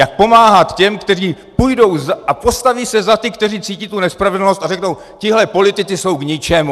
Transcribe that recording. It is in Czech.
Jak pomáhat těm, kteří půjdou a postaví se za ty, kteří cítí tu nespravedlnost, a řeknou: Tihle politici jsou k ničemu.